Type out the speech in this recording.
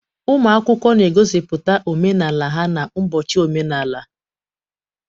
Ụmụ akwụkwọ na-egosipụta omenala ha n'ụbọchị omenala.